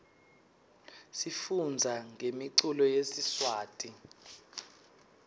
sifundza ngemiculo yesiswati